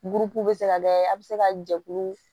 Burukuruw bɛ se ka kɛ a bɛ se ka jɛkulu